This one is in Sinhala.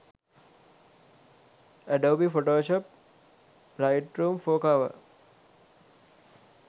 adobe photoshop lightroom 4 cover